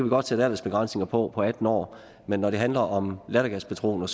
godt sætte ellers begrænsning på på atten år men når det handler om lattergaspatroner